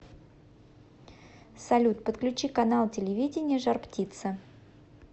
салют подключи канал телевидения жар птица